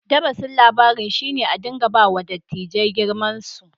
Darasin labarin shi ne a dinka ba wa dattijai girman su.